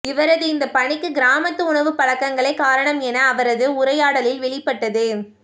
இவரது இந்த பணிக்கு கிராமத்து உணவுப் பழக்கங்களே காரணம் என அவரது உரையாடலில் வெளிப்பட்டது